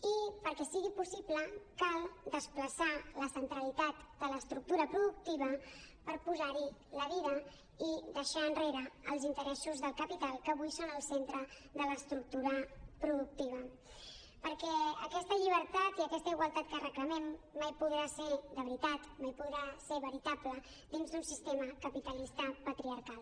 i perquè sigui possible cal desplaçar la centralitat de l’estructura productiva per posar hi la vida i deixar enrere els interessos del capital que avui són al centre de l’estructura productiva perquè aquesta llibertat i aquesta igualtat que reclamem mai podrà ser de veritat mai podrà ser veritable dins d’un sistema capitalista patriarcal